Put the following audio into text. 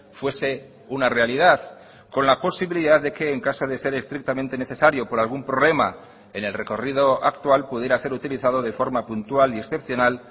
fuese una realidad con la posibilidad de que en caso de ser estrictamente necesario por algún problema en el recorrido actual pudiera ser utilizado de forma puntual y excepcional